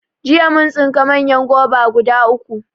Jiya mun tsinka manyan goba guda uku